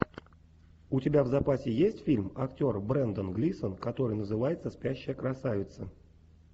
у тебя в запасе есть фильм актер брендан глисон который называется спящая красавица